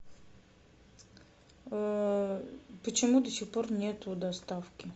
э почему до сих пор нету доставки